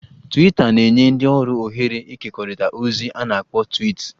"Twiita na-enye ndị ọrụ ohere ịkekọrịta ozi a na-akpọ ""twiits"""